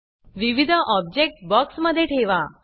विविध object box मध्ये ठेवा